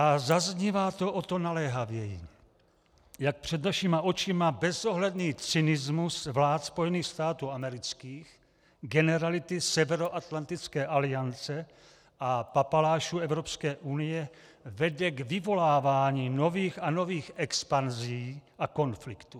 A zaznívá to o to naléhavěji, jak před našima očima bezohledný cynismus vlád Spojených států amerických, generality Severoatlantické aliance a papalášů Evropské unie vede k vyvolávání nových a nových expanzí a konfliktů.